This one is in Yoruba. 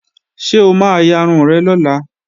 Ṣé o ma yarun rẹ̀ lọ́la?